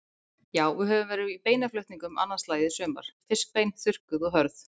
Já, við höfum verið í beinaflutningum annað slagið í sumar, fiskbein, þurrkuð og hörð.